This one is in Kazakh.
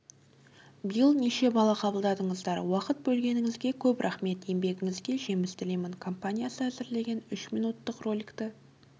биыл неше бала қабылдадыңыздар уақыт бөлгеніңізге көп рахмет еңбегіңізге жеміс тілеймін компаниясы әзірлеген үш минуттық роликті